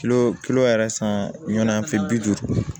kilo yɛrɛ san ɲɔn an fi duuru